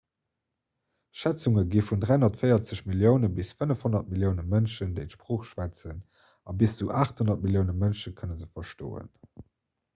schätzunge gi vun 340 millioune bis 500 millioune mënschen déi d'sprooch schwätzen a bis zu 800 millioune mënsche kënne se verstoen